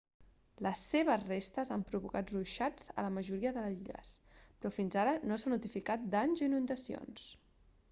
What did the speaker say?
les seves restes han provocat ruixats a la majoria de les illes però fins ara no s'ha notificat danys o inundacions